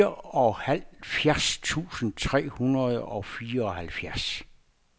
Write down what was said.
fireoghalvfjerds tusind tre hundrede og fireoghalvfjerds